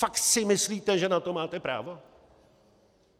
Fakt si myslíte, že na to máte právo?